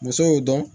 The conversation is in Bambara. Muso y'o dɔn